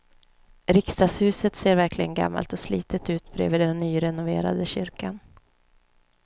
Riksdagshuset ser verkligen gammalt och slitet ut bredvid den nyrenoverade kyrkan.